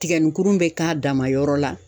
Tigɛnikuru bɛ k'a dama yɔrɔ la.